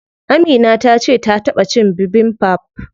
Amina tace ta taɓa cin bibimbap.